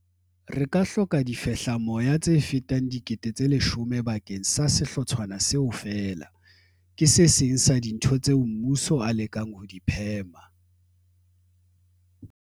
Re ka hloka difehlamoya tse fetang 10 000 bakeng sa sehlotshwana seo feela. Ke se seng sa dintho tsena tseo mmuso o lekang ho di phema.